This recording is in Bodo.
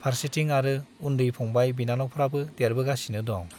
फोर्सोथिं आरो उन्दै फंबाय बिनानावफ्राबो देरबोगासिनो दं।